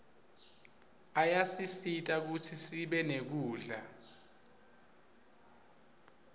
ayasisita kutsi sibe nekudla